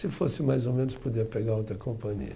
Se fosse mais ou menos, podia pegar outra companhia.